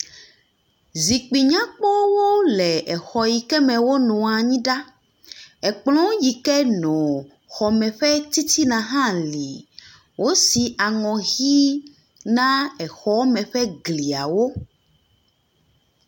Zikpui nyakpɔwo le exɔ yike me wonɔa anyi ɖa, ekplɔ yike nɔ xɔme ƒe tititna hã li. Wosi aŋɔ ʋɛ̃ na exɔme ƒe gliawo.